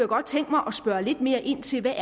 godt tænke mig at spørge lidt mere ind til hvad